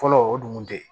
Fɔlɔ o dun kun tɛ yen